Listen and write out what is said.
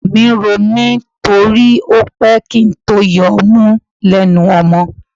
Ọyàn ń ro mí torí ó pẹ́ kí n tó yọ ọmú lẹ́nu ọmọ.